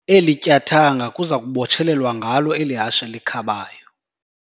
Eli tyathanga kuza kubotshelelwa ngalo eli hashe likhabayo.